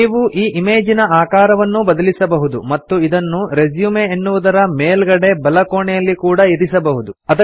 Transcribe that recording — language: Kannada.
ನೀವು ಈ ಇಮೇಜಿನ ಆಕಾರವನ್ನೂ ಬದಲಿಸಬಹುದು ಮತ್ತು ಇದನ್ನು ರೆಸ್ಯೂಮ್ ಎನ್ನುವುದರ ಮೇಲ್ಗಡೆ ಬಲಕೋಣೆಯಲ್ಲಿ ಕೂಡಾ ಇರಿಸಬಹುದು